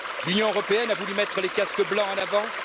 L'Union européenne a voulu mettre les casques blancs en avant